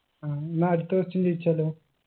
ആ എന്നാ അടുത്ത question ചോയിച്ചാലോ